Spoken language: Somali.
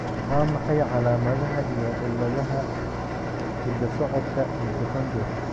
Waa maxay calaamadaha iyo calaamadaha cilladaha hidda-socodka mitochondrial?